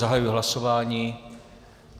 Zahajuji hlasování.